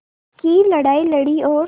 की लड़ाई लड़ी और